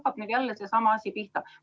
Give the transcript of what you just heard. Kas nüüd hakkab jälle seesama asi pihta?